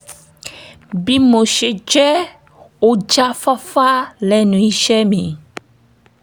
bí mo ṣe jẹ́ ọ̀jáfáfá lẹ́nu iṣẹ́ mi